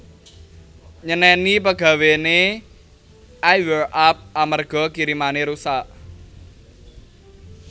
Nyeneni pegawene I Wear Up amarga kirimane rusak